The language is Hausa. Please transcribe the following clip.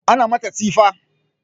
Ana mata tsifa